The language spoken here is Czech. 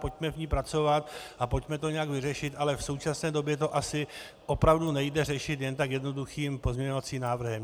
Pojďme v ní pracovat a pojďme to nějak vyřešit, ale v současné době to asi opravu nejde řešit jen tak jednoduchým pozměňujícím návrhem.